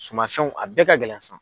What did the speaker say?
Sumanfɛnw a bɛɛ ka gɛlɛn sisan.